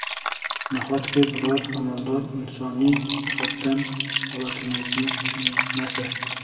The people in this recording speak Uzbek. Nahotki, biror amaldor insoniy jihatdan holatimizni tushunmasa?